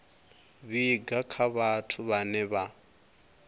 vhiga kha vhathu vhane vha